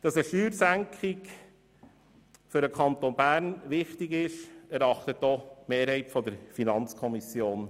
Dass eine Steuersenkung für den Kanton Bern wichtig ist, erachtet auch die Mehrheit der FiKo so.